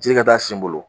Ji ka taa sen n bolo